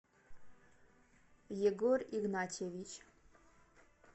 егор игнатьевич